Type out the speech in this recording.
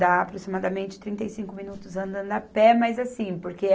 Dá aproximadamente trinta e cinco minutos andando a pé, mas assim, porque a...